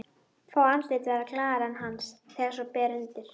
Fá andlit verða glaðari en hans þegar svo ber undir.